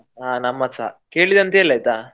ಹ ನಮ್ಮದ್ಸ ಕೇಳಿದೆ ಅಂತ ಹೇಳು ಆಯ್ತಾ.